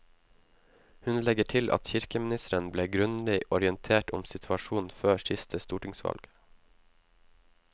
Hun legger til at kirkeministeren ble grundig orientert om situasjonen før siste stortingsvalg.